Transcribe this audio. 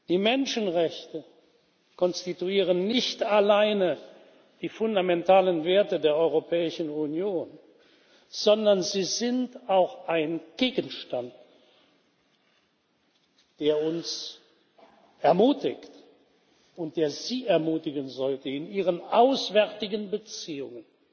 Die Menschenrechte konstituieren nicht alleine die fundamentalen Werte der Europäischen Union, sondern sie sind auch ein Gegenstand, der uns ermutigt und der Sie ermutigen sollte, in Ihren auswärtigen Beziehungen